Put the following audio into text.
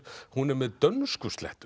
hún er með